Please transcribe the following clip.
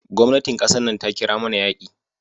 Gwamnatin kasan nan ta kira mana yaki.